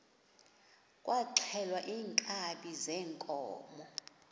kwaxhelwa iinkabi zeenkomo